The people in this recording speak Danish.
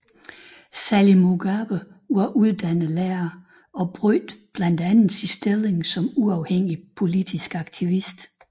Sally Mugabe var uddannet lærer og brugte blandt andet sin stilling som uafhængig politisk aktivist